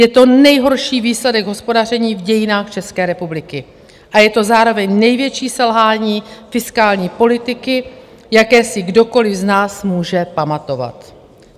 Je to nejhorší výsledek hospodaření v dějinách České republiky a je to zároveň největší selhání fiskální politiky, jaké si kdokoliv z nás může pamatovat.